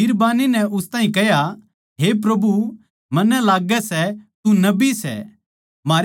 बिरबान्नी नै उस ताहीं कह्या हे प्रभु मन्नै लाग्गै सै तू नबी सै